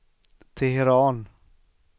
Teheran